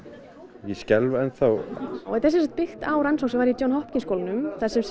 og ég skelf enn þá þetta er sem sagt byggt á rannsókn sem var í John Hopkins skólanum þar sem